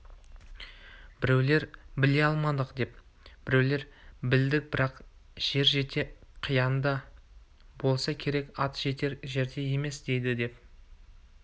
біреулер біле алмадық деп біреулер білдік бірақ жер шеті қиянда болса керек ат жетер жерде емес дейді деп